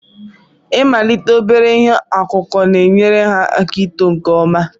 Ịmalite obere ihe ọkụkụ na-enyere ha aka ito nke ọma.